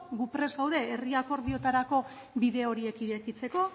gu prest gaude herri akordioetarako bide horiek irekitzeko